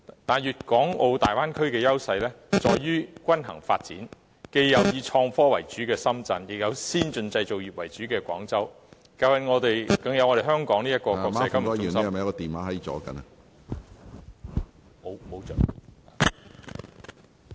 但是，大灣區的優勢在於均衡發展，既有以創科為主的深圳，亦有先進製造業為主的廣州，更有我們香港這個金融中心......